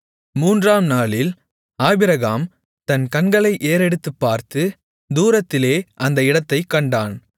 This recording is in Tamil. மூன்றாம் நாளில் ஆபிரகாம் தன் கண்களை ஏறெடுத்துப்பார்த்து தூரத்திலே அந்த இடத்தைக் கண்டான்